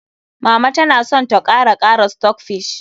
Mama ta na son ta kara kara stockfish.